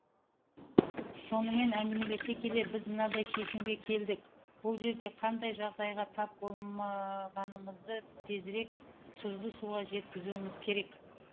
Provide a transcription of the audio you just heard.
сонымен әңгімелесе келе біз мынадай шешімге келдік бұл жерде қандай жағдайға тап болмағанымызды тезірек тұзды суға жеткізуіміз керек